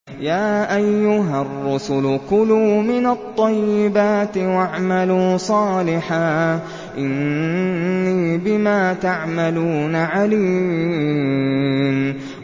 يَا أَيُّهَا الرُّسُلُ كُلُوا مِنَ الطَّيِّبَاتِ وَاعْمَلُوا صَالِحًا ۖ إِنِّي بِمَا تَعْمَلُونَ عَلِيمٌ